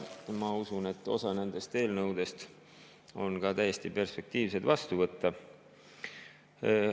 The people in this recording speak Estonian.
Ma usun, et osa nendest eelnõudest on ka täiesti perspektiivsed, et neid vastu võtta.